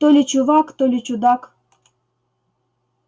то ли чувак то ли чудак